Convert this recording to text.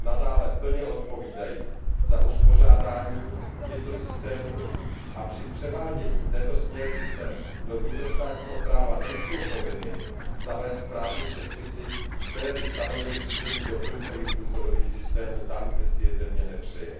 nadále plně odpovídají za uspořádání těchto systémů apři převádění této směrnice do vnitrostátního práva nejsou povinny zavést právní předpisy, které by stanovily zřízení doplňkových důchodových systémů tam, kde si je země nepřeje.